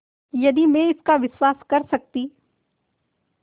यदि मैं इसका विश्वास कर सकती